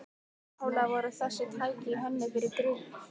Upphaflega voru þessi tæki hönnuð fyrir grill